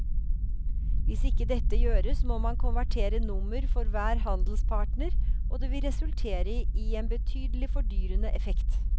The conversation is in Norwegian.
Hvis ikke dette gjøres må man konvertere nummer for hver handelspartner og det vil resultere i en betydelig fordyrende effekt.